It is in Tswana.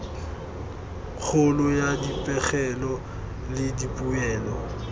kgolo ya dipegelo le dipoelo